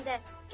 Get də.